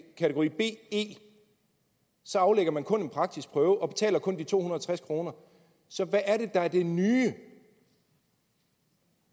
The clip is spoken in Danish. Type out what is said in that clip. kategori be aflægger man kun en praktisk prøve og betaler kun de to hundrede og tres kroner så hvad er det der er det nye